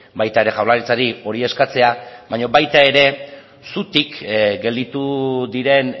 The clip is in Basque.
baita ere jaurlaritzari hori eskatzea baino baita ere zutik gelditu diren